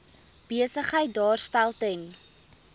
besigheid daarstel ten